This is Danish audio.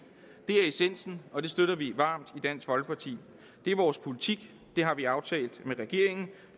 det er essensen og det støtter vi varmt i dansk folkeparti det er vores politik det har vi aftalt med regeringen